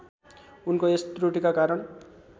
उनको यस त्रुटिका कारण